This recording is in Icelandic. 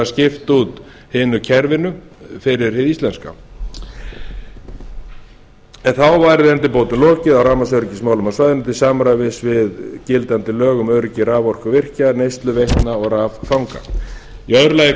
skipta út hinu kerfinu fyrir hið íslenska en þá væri endurbótum lokið á rafmagnsöryggismálum á svæðinu til samræmis við gildandi lög um öryggi raforkuvirki neyslu veitna og raffanga í öðru lagi er